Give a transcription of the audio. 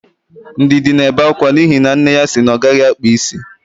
Ndidi na-ebe akwa n'ihi na nne ya sị na ọ gaghị akpa isi.